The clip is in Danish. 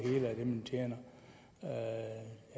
man tjener jeg